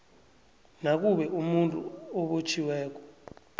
nakube umuntu obotjhiweko